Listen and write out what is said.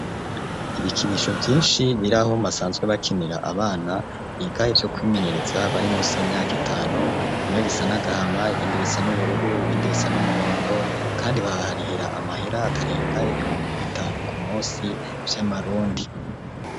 Ibikinisho vyinshi biri ahobasanzwe bakinira, abana igari yo kwimenyereza bari munsi y'imyaka itanu, bimwe bisa nagahama ,ibindi bisa n'ubururu ,ibindi bisa n'umuhondo ,kandi baraharihira amahera atarenga y'ibihumbi bitanu ku munsi ,vy'amarundi.